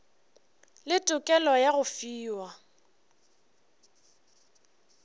le tokelo ya go fiwa